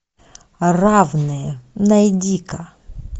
равные найди ка